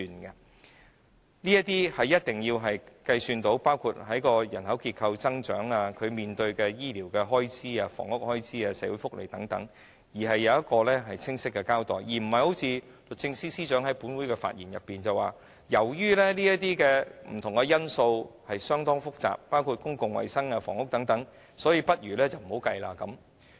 計算的過程須包括人口增長、醫療開支、房屋開支、社會福利等，並清晰交代，而並非一如律政司司長在本會發言時所說般，由於這些不同的因素相當複雜，包括公共衞生、房屋等，所以倒不如不要計算在內。